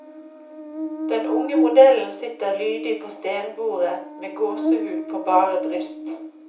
Den unge modellen sitter lydig på stenbordet med gåsehud på bare bryst.